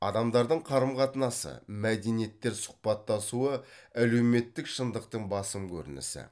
адамдардың қарым қатынасы мәдениеттер сұхбаттасуы әлеуметтік шындықтың басым көрінісі